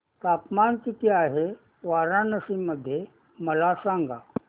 तापमान किती आहे वाराणसी मध्ये मला सांगा